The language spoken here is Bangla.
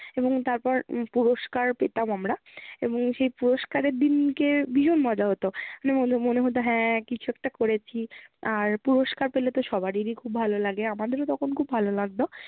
এবং তারপর পুরস্কার পেতাম আমরা। এবং সেই পুরস্কারের দিনকে ভীষণ মজা হতো। মানে মনে হতো হ্যাঁ কিছু একটা করেছি আর পুরস্কার পেলে তো সবারেরি খুব ভালো লাগে, আমাদেরও তখন খুব ভালো লাগতো